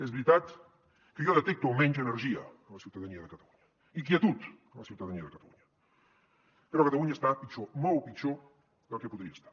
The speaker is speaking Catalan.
és veritat que jo detecto almenys energia en la ciutadania de catalunya inquietud a la ciutadania de catalunya però catalunya està pitjor molt pitjor del que podria d’estar